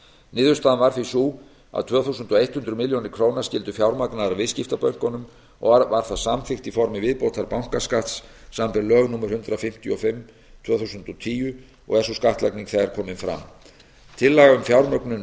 niðurstaðan varð því sú að tvö þúsund hundrað milljónir króna skyldu fjármagnaðar af viðskiptabönkunum og var það samþykkt í formi viðbótarbankaskatts samanber lög númer hundrað fimmtíu og fimm tvö þúsund og tíu og er sú skattlagning þegar komin fram tillagan um fjármögnun